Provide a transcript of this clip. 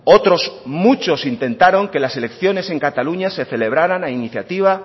otros muchos intentaron que las elecciones en cataluña se celebraran a iniciativa